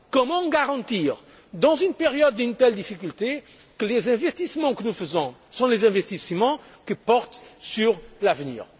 Comment garantir, dans une période d'une telle difficulté, que les investissements que nous faisons sont les investissements qui portent sur l'avenir?